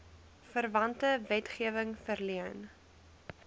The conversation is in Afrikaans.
verwante wetgewing verleen